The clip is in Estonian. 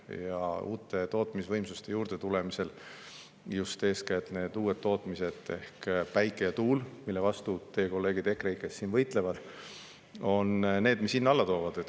Ja uued tootmisvõimsused – eeskätt just need uued tootmised, mille vastu teie kolleegid EKREIKE‑st siin võitlevad, ehk päike ja tuul – on need, mis hinna alla toovad.